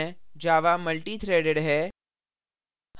java multithreaded है